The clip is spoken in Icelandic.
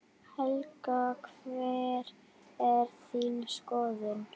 Helga: Hver er þín skoðun?